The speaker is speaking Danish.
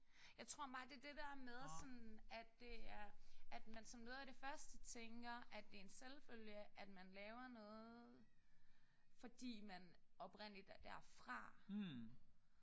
Jeg tror bare det er det der med sådan at det er at man som noget af det første tænker at det er en selvfølge at man laver noget fordi man oprindeligt er derfra